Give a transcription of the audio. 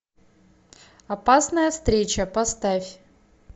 опасная встреча поставь